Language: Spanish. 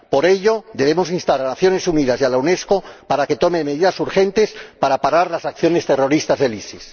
Por ello, debemos instar a las Naciones Unidas y a la UNESCO a que tomen medidas urgentes para parar las acciones terroristas del ISIS.